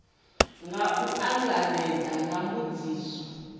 nga u angaredza nga mbudziso